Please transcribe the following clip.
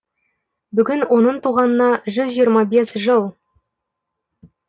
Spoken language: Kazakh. бүгін оның туғанына жүз жиырма бес жыл